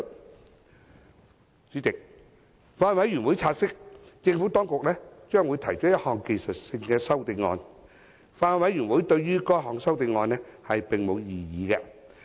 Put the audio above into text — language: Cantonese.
代理主席，法案委員會察悉，政府當局將會提出一項技術性的修正案。法案委員會對該項修正案並無異議。